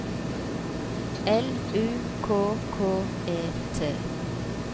L U K K E T